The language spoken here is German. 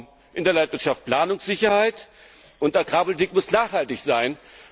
Wir brauchen in der Landwirtschaft Planungssicherheit, und Agrarpolitik muss nachhaltig sein.